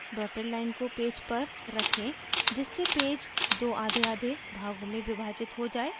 dotted line को page पर रखें जिससे पेज दो आधेआधे भागों में विभाजित हो जाये